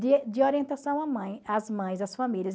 de ee orientação à mãe às mães, às famílias.